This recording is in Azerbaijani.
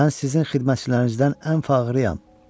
Mən sizin xidmətçilərinizdən ən fağırıyam.